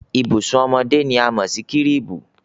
Ìbùsùn ọmọdé ni a mọ̀ sí kírìbù.